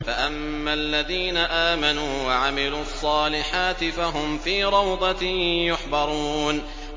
فَأَمَّا الَّذِينَ آمَنُوا وَعَمِلُوا الصَّالِحَاتِ فَهُمْ فِي رَوْضَةٍ يُحْبَرُونَ